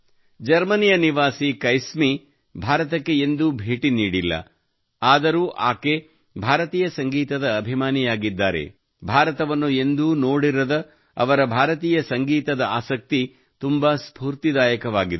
ಜರ್ಮನಿಯ ನಿವಾಸಿ ಕೈಸ್ಮಿ ಭಾರತಕ್ಕೆ ಎಂದೂ ಭೇಟಿ ನೀಡಿಲ್ಲ ಆದರೂ ಆಕೆ ಭಾರತೀಯ ಸಂಗೀತದ ಅಭಿಮಾನಿಯಾಗಿದ್ದಾರೆ ಭಾರತವನ್ನು ಎಂದೂ ನೋಡಿರದ ಅವರ ಭಾರತೀಯ ಸಂಗೀತದ ಆಸಕ್ತಿ ತುಂಬಾ ಸ್ಫೂರ್ತಿದಾಯಕವಾಗಿದೆ